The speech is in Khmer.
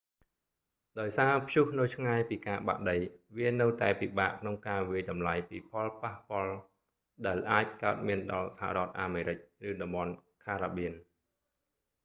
ដោយសារព្យុះនៅឆ្ងាយពីការបាក់ដី វានៅតែពិបាកក្នុងការវាយតម្លៃពីផលប៉ះពាល់ដែលអាចកើតមានដល់សហរដ្ឋអាមេរិក ឬតំបន់ caribbean ការ៉ាបៀន